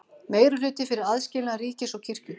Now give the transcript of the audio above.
Meirihluti fyrir aðskilnaði ríkis og kirkju